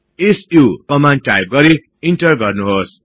सु command type गरि enter गर्नुहोस्